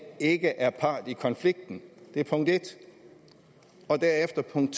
ikke er part i konflikten det er punkt en og derefter punkt